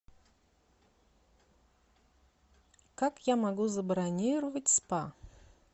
как я могу забронировать спа